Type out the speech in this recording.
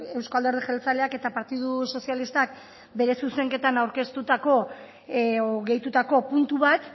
euzko alderdi jeltzaleak eta partidu sozialistak bere zuzenketan aurkeztutako o gehitutako puntu bat